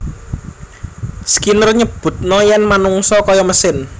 Skinner nyebutna yen manungsa kaya mesin